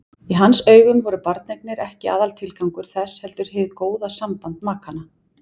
Í hans augum voru barneignir ekki aðaltilgangur þess heldur hið góða samband makanna.